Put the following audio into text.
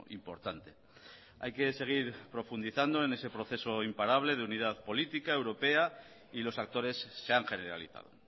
importante hay que seguir profundizando en ese proceso imparable de unidad política europea y los actores se han generalizado